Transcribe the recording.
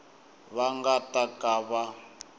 va nga ta ka va